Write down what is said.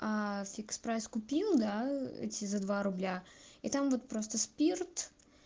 аа фикс прайс купил эти за два рубля и там вот просто спирт